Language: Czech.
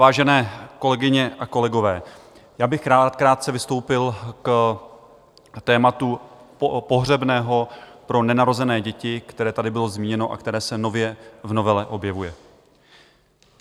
Vážené kolegyně a kolegové, já bych rád krátce vystoupil k tématu pohřebného pro nenarozené děti, které tady bylo zmíněno a které se nově v novele objevuje.